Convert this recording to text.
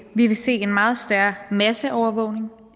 vi vil se en meget større masseovervågning